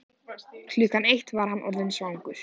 Klukkan eitt var hann orðinn svangur.